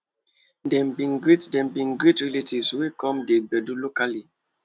dem bin greet dem bin greet relatives wey come the gbedu locally